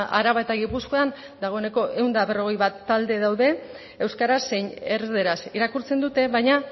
araba eta gipuzkoan dagoeneko ehun eta berrogei bat talde daude euskaraz zein erdaraz irakurtzen dute baina